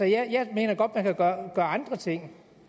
jeg mener godt at gøre andre ting